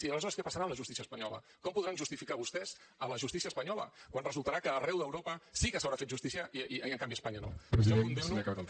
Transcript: i aleshores què passarà amb la justícia espanyola com podran justificar vostès la justícia espanyola quan resultarà que arreu d’europa sí que s’haurà fet justícia i en canvi a espanya no jo condemno